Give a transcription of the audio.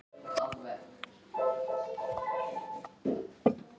Hatrið blundar á meðan ég reikna.